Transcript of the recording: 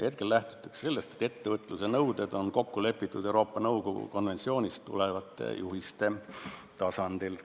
Hetkel lähtutakse sellest, et ettevõtluse nõuded on kokku lepitud Euroopa Nõukogu konventsioonist tulenevate juhiste tasandil.